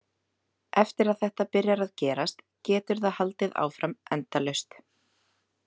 Eftir að þetta byrjar að gerast, getur það haldið áfram endalaust.